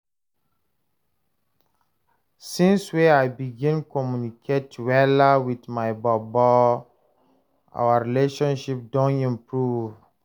Since wey I begin communicate wella wit my bobo, our relationship don improve.